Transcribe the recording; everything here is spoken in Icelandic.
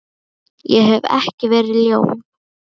Ég hef ekki verið ljón.